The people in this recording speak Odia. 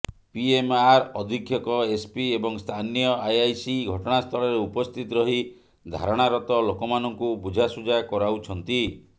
ପିଏମ୍ଆର୍ ଅଧିକ୍ଷକ ଏସ୍ପି ଏବଂ ସ୍ଥାନୀୟ ଆଇଆଇସି ଘଟଣାସ୍ଥଳରେ ଉପସ୍ଥିତ ରହି ଧାରଣାରତ ଲୋକମାନଙ୍କୁ ବୁଝାଶୁଝା କରାଉଛନ୍ତି